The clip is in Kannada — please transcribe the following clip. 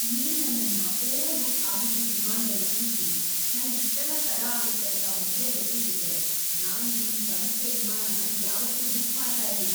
ನೀವ್ ನನ್ನನ್ನ ಓವರ್‌ಬುಕ್ ಆಗಿದ್ದಿದ್ ವಿಮಾನ್ದಲ್ ಕೂರ್ಸಿ ನಂಗ್‌ ಇಷ್ಟೆಲ್ಲ ತಡ ಆಗತ್ತೆ ಅಂತ ಮೊದ್ಲೇ ಗೊತ್ತಿದ್ದಿದ್ರೆ ನಾನ್ ನಿಮ್ ಸಂಸ್ಥೆ ವಿಮಾನನ ಯಾವತ್ತೂ ಬುಕ್ ಮಾಡ್ತಾ ಇರ್ಲಿಲ್ಲ.